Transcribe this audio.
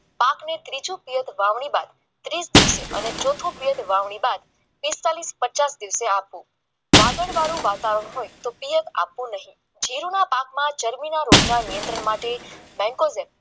પાકનું ત્રીજું વિહત વાવણી બાદ પિસ્તાળીસ પચાસ દિવસે આપો વાતાવરણ હોય તો આપવું નહીં ના પાક માં ચરબી રોગના નિયંત્રણ માટે બેંકોમાં